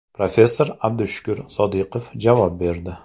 Professor Abdushukur Sodiqov javob berdi.